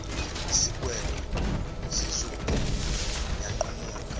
isigwebo sizophu yanqamuka